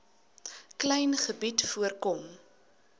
klein gebied voorkom